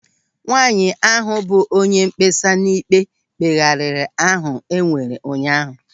Nwaanyị ahụ bụ onye mkpesa n'ikpe mkpeghari ahụ enwere ụnyaahụ.